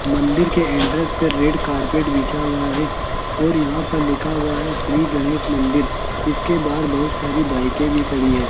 मंदिर के इंट्रेंस पे रेड कारपेट बिछा हुआ है और यहां पर लिखा हुआ है श्री गणेश मंदिर इसके बाहर बहुत सारी बाइके भी खड़ी है।